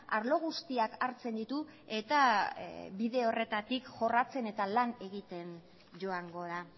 arlo guztiak hartzen ditu eta bide horretatik jorratzen eta lan egiten joango da